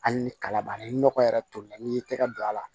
Hali ni kala b'a la ni nɔgɔ yɛrɛ tolilen n'i y'i tɛgɛ don a la